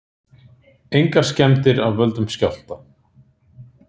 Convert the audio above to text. Engar skemmdir af völdum skjálfta